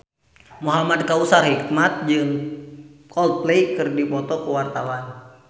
Muhamad Kautsar Hikmat jeung Coldplay keur dipoto ku wartawan